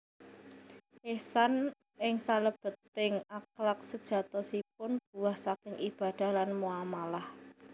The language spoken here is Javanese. Ihsan ing salèbèting akhlak séjatosipun buah saking ibadah lan muamalah